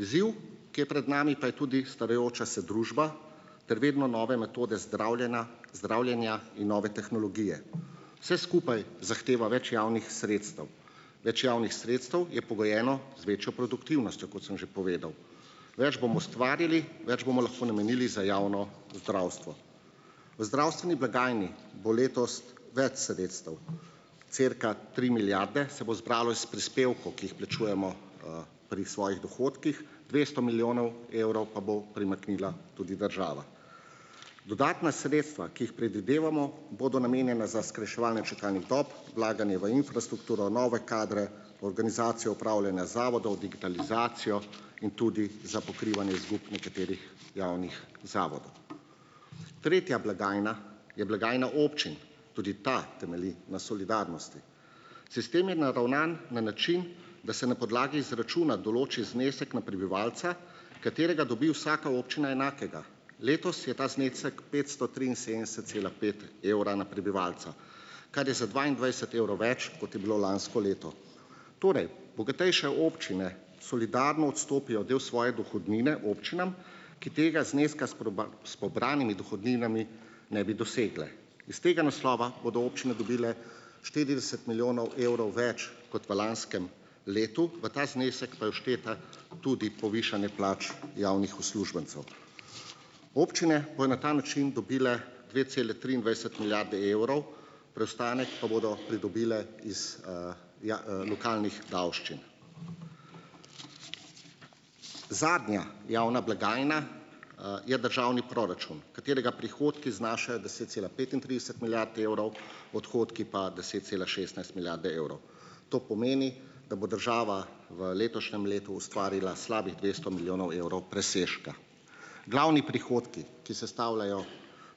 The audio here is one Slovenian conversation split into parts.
Izziv, ki je pred nami, pa je tudi starajoča se družba ter vedno nove metode zdravljena zdravljenja in nove tehnologije. Vse skupaj zahteva več javnih sredstev, več javnih sredstev je pogojeno z večjo produktivnostjo, kot sem že povedal. Več bomo ustvarili, več bomo lahko namenili za javno zdravstvo. V zdravstveni blagajni bo letos več sredstev, cirka tri milijarde se bo zbralo iz prispevkov, ki jih plačujemo pri svojih dohodkih, dvesto milijonov evrov pa bo primaknila tudi država. Dodatna sredstva, ki jih predvidevamo, bodo namenjena za skrajševanje čakalnih dob, vlaganje v infrastrukturo, nove kadre, organizacijo upravljanja zavodov, digitalizacijo in tudi za pokrivanje izgub nekaterih javnih zavodov. Tretja blagajna je blagajna občin. tudi ta temelji na solidarnosti. Sistem je naravnan na način, da se na podlagi izračuna določi znesek na prebivalca, katerega dobi vsaka občina enakega. Letos je ta znesek petsto triinsedemdeset cela pet evra na prebivalca, kar je za dvaindvajset evrov več, kot je bilo lansko leto. Torej, bogatejše občine solidarno odstopijo del svoje dohodnine občinam, ki tega zneska s pobranimi dohodninami ne bi dosegle. Iz tega naslova bodo občine dobile štirideset milijonov evrov več kot v lanskem letu, v ta znesek pa je všteto tudi povišanje plač javnih uslužbencev. Občine bojo na ta način dobile dve cele triindvajset milijarde evrov, preostanek pa bodo pridobile iz lokalnih davščin. Zadnja javna blagajna je državni proračun, katerega prihodki znašajo deset cela petintrideset milijard evrov, odhodki pa deset cela šestnajst milijarde evrov. To pomeni, da bo država v letošnjem letu ustvarila slabih dvesto milijonov evrov presežka. Glavni prihodki, ki sestavljajo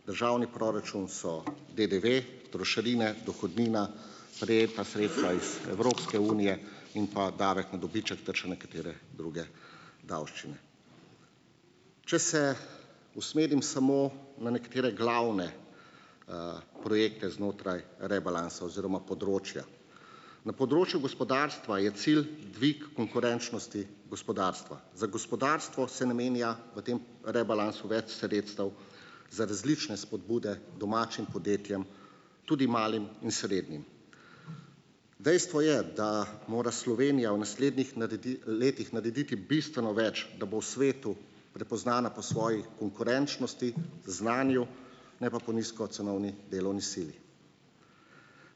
državni proračun, so DDV, trošarine, dohodnina, prejeta sredstva iz Evropske unije in pa davek na dobiček ter še nekatere druge davščine. Če se usmerim samo na nekatere glavne projekte znotraj rebalansa oziroma področja. Na področju gospodarstva je cilj dvig konkurenčnosti gospodarstva. Za gospodarstvo se namenja v tem rebalansu več sredstev za različne spodbude domačim podjetjem, tudi malim in srednjim. Dejstvo je, da mora Slovenija v naslednjih letih narediti bistveno več, da bo v svetu prepoznana po svoji konkurenčnosti, znanju, ne pa po nizkocenovni delovni sili.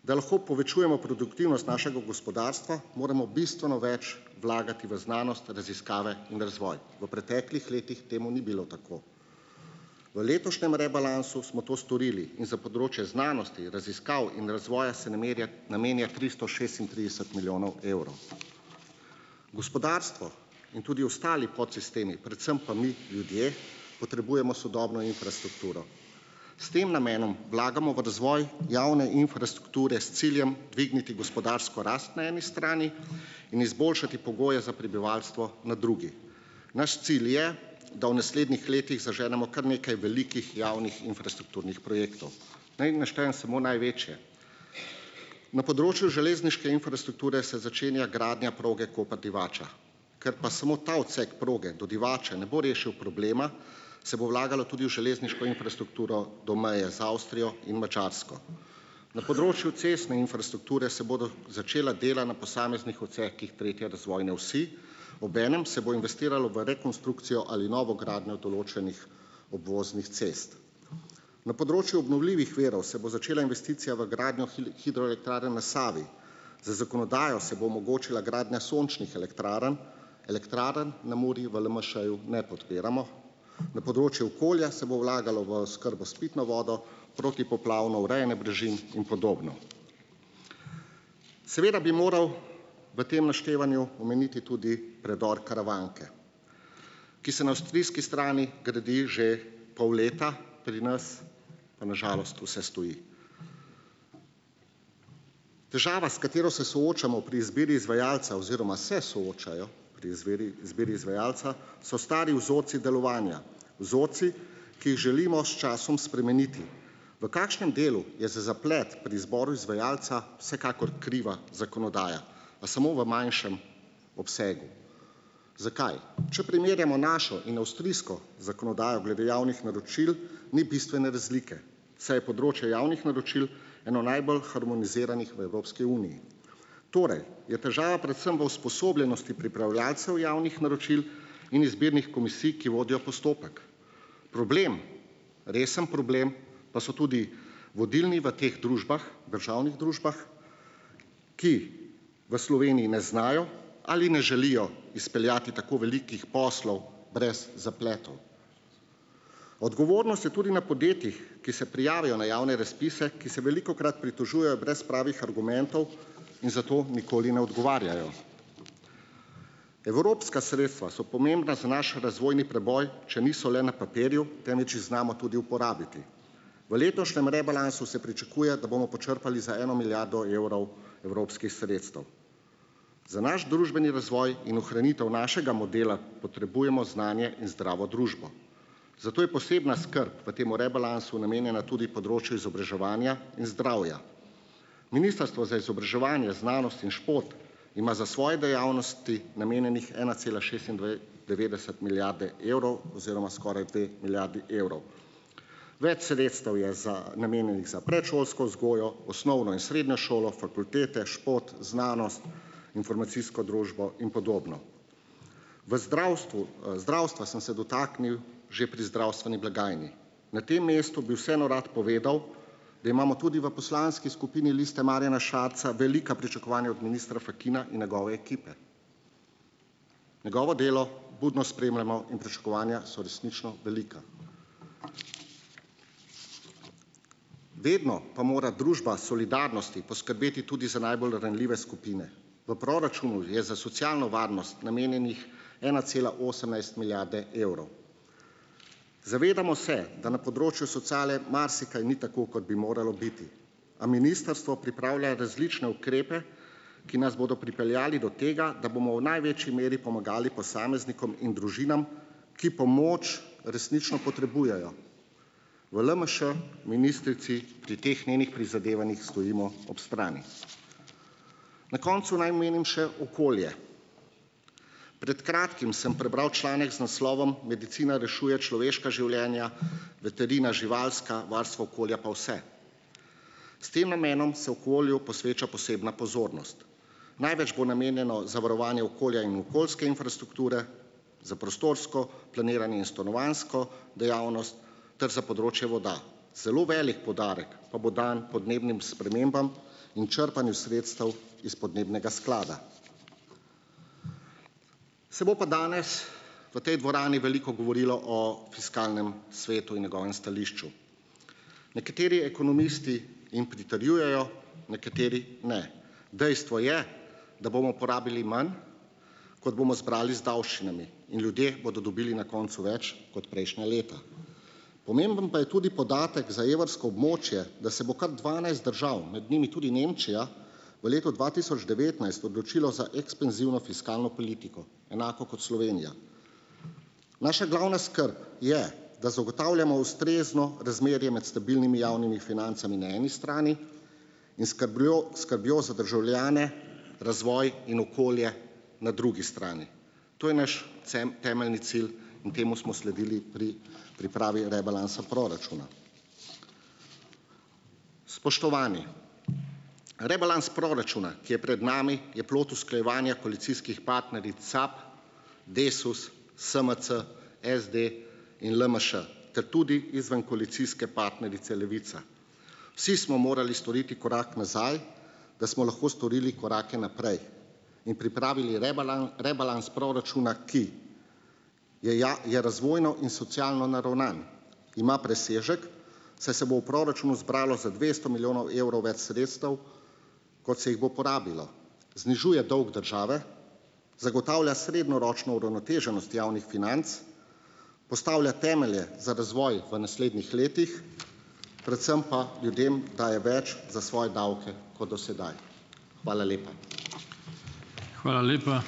Da lahko povečujemo produktivnost našega gospodarstva, moramo bistveno več vlagati v znanost, raziskave in razvoj. V preteklih letih temu ni bilo tako. V letošnjem rebalansu smo to storili in za področje znanosti, raziskav in razvoja se namerja namenja tristo šestintrideset milijonov evrov. Gospodarstvo in tudi ostali podsistemi, predvsem pa mi ljudje potrebujemo sodobno infrastrukturo. S tem namenom vlagamo v razvoj javne infrastrukture s ciljem dvigniti gospodarsko rast na eni strani in izboljšati pogoje za prebivalstvo na drugi. Naš cilj je, da v naslednjih letih zaženemo kar nekaj velikih javnih infrastrukturnih projektov. Ni jih naštejem samo največje: na področju železniške infrastrukture se začenja gradnja proge Koper-Divača, ker pa samo ta odsek proge do Divače ne bo rešil problema, se bo vlagalo tudi v železniško infrastrukturo do meje z Avstrijo in Madžarsko; na področju cestne infrastrukture se bodo začela dela na posameznih odsekih tretje razvojne osi, obenem se bo investiralo v rekonstrukcijo ali novogradnjo določenih obvoznih cest; na področju obnovljivih virov se bo začela investicija v gradnjo hidroelektrarn na Savi, z zakonodajo se bo omogočila gradnja sončnih elektrarn, elektrarn na Muri v LMŠ-ju ne podpiramo; na področju okolja se bo vlagalo v oskrbo s pitno vodo, protipoplavno urejanje brežin in podobno. Seveda bi moral v tem naštevanju omeniti tudi predor Karavanke, ki se na avstrijski strani gradi že pol leta, pri nas pa na žalost vse stoji. Težava, s katero se soočamo pri izbiri izvajalca oziroma se soočajo pri izbiri, izbiri izvajalca, so stari vzorci delovanja, vzorci, ki jih želimo s časom spremeniti. V kakšnem delu je za zaplet pri izboru izvajalca vsekakor kriva zakonodaja, pa samo v manjšem obsegu. Zakaj? Če primerjamo našo in avstrijsko zakonodajo glede javnih naročil, ni bistvene razlike, saj je področje javnih naročil eno najbolj harmoniziranih v Evropski uniji. Torej je težava predvsem v usposobljenosti pripravljavcev javnih naročil in izbirnih komisij, ki vodijo postopek. Problem, resen problem, pa so tudi vodilni v teh družbah, državnih družbah, ki v Sloveniji ne znajo ali ne želijo izpeljati tako velikih poslov brez zapletov. Odgovornost je tudi na podjetjih, ki se prijavijo na javne razpise, ki se velikokrat pritožujejo brez pravih argumentov in zato nikoli ne odgovarjajo. Evropska sredstva so pomembna za naš razvojni preboj, če niso le na papirju, temveč jih znamo tudi uporabiti. V letošnjem rebalansu se pričakuje, da bomo počrpali za eno milijardo evrov evropskih sredstev. Za naš družbeni razvoj in ohranitev našega modela potrebujemo znanje in zdravo družbo. Zato je posebna skrb v tem rebalansu namenjena tudi področju izobraževanja in zdravja. Ministrstvo za izobraževanje, znanost in šport ima za svoje dejavnosti namenjenih ena cela devetdeset milijarde evrov oziroma skoraj dve milijardi evrov. Več sredstev je za namenjenih za predšolsko vzgojo, osnovno in srednjo šolo, fakultete, šport, znanost, informacijsko družbo in podobno. V zdravstvu, zdravstva sem se dotaknil že pri zdravstveni blagajni. Na tem mestu bi vseeno rad povedal, da imamo tudi v Poslanski skupini Liste Marjana Šarca velika pričakovanja od ministra Fakina in njegove ekipe. Njegovo delo budno spremljamo in pričakovanja so resnično velika. Vedno pa mora družba solidarnosti poskrbeti tudi za najbolj ranljive skupine. V proračunu je za socialno varnost namenjenih ena cela osemnajst milijarde evrov. Zavedamo se, da na področju sociale marsikaj ni tako, kot bi moralo biti, a ministrstvo pripravlja različne ukrepe, ki nas bodo pripeljali do tega, da bomo v največji meri pomagali posameznikom in družinam, ki pomoč resnično potrebujejo. V LMŠ ministrici pri teh njenih prizadevanjih stojimo ob strani. Na koncu naj omenim še okolje. Pred kratkim sem prebral članek z naslovom Medicina rešuje človeška življenja, veterina živalska, varstvo okolja pa vse. S tem namenom se okolju posveča posebna pozornost. Največ bo namenjeno zavarovanju okolja in okoljske infrastrukture, za prostorsko planiranje in stanovanjsko dejavnost ter za področje voda. Zelo velik poudarek pa bo dan podnebnim spremembam in črpanju sredstev iz podnebnega sklada. Se bo pa danes, v tej dvorani veliko govorilo o Fiskalnem svetu in njegovem stališču. Nekateri ekonomisti jim pritrjujejo, nekateri ne. Dejstvo je, da bomo porabili manj, kot bomo zbrali z davščinami, in ljudje bodo dobili na koncu več kot prejšnja leta. Pomemben pa je tudi podatek za evrsko območje, da se bo kar dvanajst držav, med njimi tudi Nemčija, v letu dva tisoč devetnajst odločilo za ekspanzivno fiskalno politiko enako kot Slovenija. Naša glavna skrb je, da zagotavljamo ustrezno razmerje med stabilnimi javnimi financami na eni strani in skrbjo skrbjo za državljane, razvoj in okolje na drugi strani. To je naš temeljni cilj in temu smo sledili pri pripravi rebalansa proračuna. Spoštovani, rebalans proračuna, ki je pred nami, je plod usklajevanja koalicijskih partneric SAB, Desus, SMC, SD in LMŠ ter tudi izvenkoalicijske partnerice Levica. Vsi smo morali storiti korak nazaj, da smo lahko storili korake naprej in pripravili rebalans proračuna, ki je je razvojno in socialno naravnan, ima presežek, saj se bo v proračunu zbralo za dvesto milijonov evrov več sredstev, kot se jih bo porabilo, znižuje dolg države, zagotavlja srednjeročno uravnoteženost javnih financ, postavlja temelje za razvoj v naslednjih letih, predvsem pa ljudem daje več za svoje davke kot do sedaj. Hvala lepa.